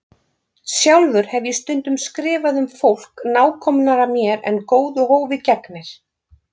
Sjálfur hef ég stundum skrifað um fólk nákomnara mér en góðu hófi gegnir.